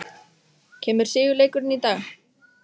Kemur sigurleikurinn í dag?